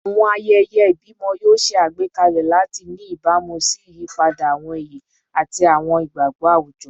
Awọn ayẹyẹ ibimọ yoo ṣe agbekalẹ lati ni ibamu si iyipada awọn iye ati awọn igbagbọ awujọ